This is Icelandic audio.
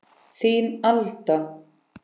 Þín, Alda.